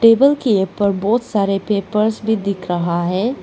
Table के ऊपर बहुत सारे पेपर्स भी दिख रहा है।